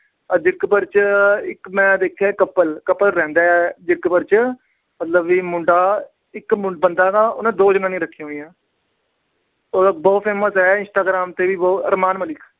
ਜੀਰਕਪੁਰ ਚ ਇੱਕ ਮੈਂ ਦੇਖਿਆ couple couple ਰਹਿੰਦਾ ਜੀਰਕਪੁਰ ਚ। ਮਤਲਬ ਵੀ ਮੁੰਡਾ ਇੱਕ ਆਹ ਬੰਦਾ ਉਹਨੇ ਦੋ ਜਨਾਨਿਆਂ ਰੱਖੀਆਂ ਹੋਈਆਂ। ਉਹ ਤਾਂ ਬਹੁਤ famous ਏ instagram ਤੇ ਵੀ ਬਹੁਤ। ਅਰਮਾਨ ਮਲਿਕ।